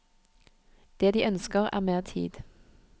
Det de ønsker er mer tid.